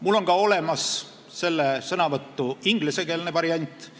Mul on ka olemas selle sõnavõtu ingliskeelne variant.